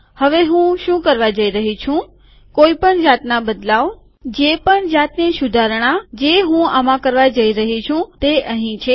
હવે હું શું કરવા જઈ રહ્યો છું કે કોઇપણ જાતના બદલાવ જે પણ જાતની સુધારણા જે હું આમાં કરવા જઇ રહ્યો છું તે અહીં છે